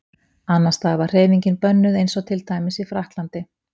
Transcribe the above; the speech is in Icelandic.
Annars staðar var hreyfingin bönnuð eins og til dæmis í Frakklandi.